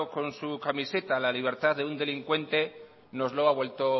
con su camiseta la libertad de una delincuente nos lo ha vuelto